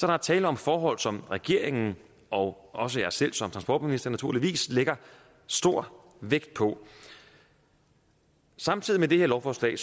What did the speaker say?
er tale om forhold som regeringen og også jeg selv som transportminister naturligvis lægger stor vægt på samtidig med det her lovforslag